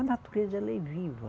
A natureza, ela é viva.